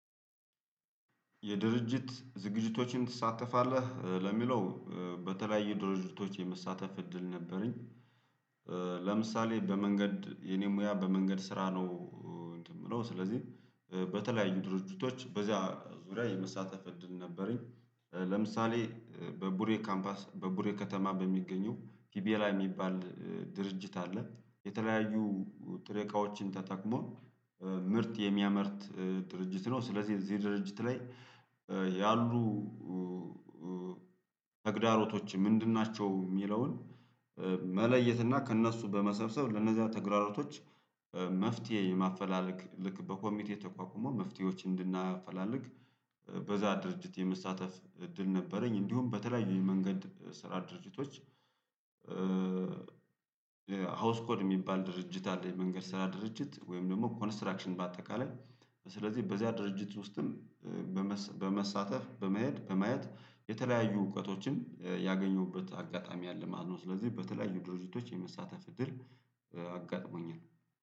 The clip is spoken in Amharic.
የድርጅት ዝግጅቶችን ትሳተፋለህ ለሚለው በተለያየ ድርጅቶች የመሳተፍ እድል ነበረኝ። ለምሳሌ በመንገድ የኔ ሙያ በመንገድ ስራ ነው። እንትን ምለው ስለዚህ በተለያዩ ድርጅቶች በዚያ ዙሪያ የመሳተፍ እድል ነበረኝ። ለምሳሌ በቡሬ ካምፓስ በቡሬ ከተማ በሚገኘው ፒቤላ የሚባል ድርጅት አለ። የተለያዩ ጥሬ እቃዎችን ተጠቅሞ ምርት የሚያመርት ድርጅት ነው። ስለዚህ እዚህ ድርጅት ላይ ያሉ ተግዳሮቶች ምንድን ናቸው? የሚለውን መለየት እና ከእነሱ በመሰብሰብ ለእነዚያ ተግራሮቶች መፍትሄ የማፈላለግ ልክ በኮሚቴ ተቋቁሞ መፍትሄዎች እንድናፈላለግ በዚያ ድርጅት የመሳተፍ እድል ነበረኝ። እንዲሁም በተለያዩ የመንገድ ስራ ድርጅቶች። ሀውስ ኮድ የሚባል ድርጅት አለ የመንገድ ስራ ድርጅት ወይም ደግሞ ኮንስትራክሽን በአጠቃላይ ስለዚህ በዚያ ድርጅት ውስጥም በመሳተፍ በመሄድ በመያት የተለያዩ እውቀቶችን ያገኙበት አጋጣሚ አለ ማለት ነው። ስለዚህ በተለያዩ ድርጅቶች የመሳተፍ እድር አጋጥሞኛል